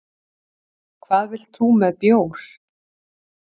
Hvað vilt þú með bjór?